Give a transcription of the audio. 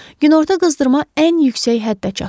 Günorta qızdırma ən yüksək həddə çatdı.